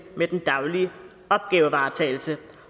med den daglige opgavevaretagelse